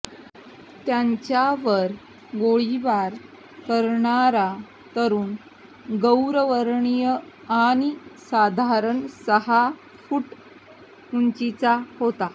त्यांच्यावर गोळीबार करणारा तरुण गौरवर्णीय आणि साधारण सहा फूट उंचीचा होता